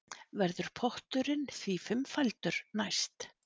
Verður potturinn því fimmfaldur næst